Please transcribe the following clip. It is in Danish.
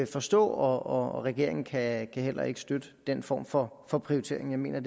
forstå og regeringen kan heller ikke støtte den form for for prioritering jeg mener at